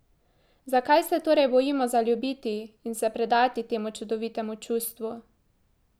Zakaj se torej bojimo zaljubiti in se predati temu čudovitemu čustvu?